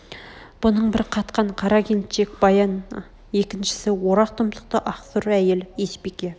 бұның бір қатқан қара келіншек баян екіншісі орақ тұмсықты ақ сұр әйел есбике